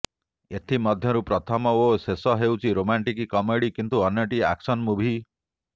ଏଥିମଧ୍ୟରୁ ପ୍ରଥମ ଓ ଶେଷ ହେଉଛି ରୋମାଣ୍ଟିକ୍ କମେଡ଼ି କିନ୍ତୁ ଅନ୍ୟଟି ଆକ୍ସନ୍ ମୁଭି